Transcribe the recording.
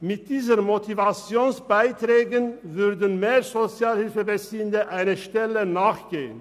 Mit diesen Motivationsbeiträgen würden mehr Sozialhilfebeziehende einer Anstellung nachgehen.